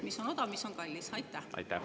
Mis on odav, mis on kallis?